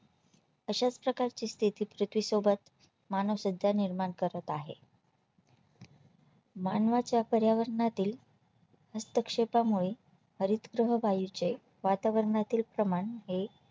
अशाच प्रकारची स्तिथी पृथ्वीसोबत मानव सध्या निर्माण करत आहे मानवाच्या पर्यावरणातील हस्तक्षेपामुळे हरितगृह वायूचे वातावरणातील प्रमाण हे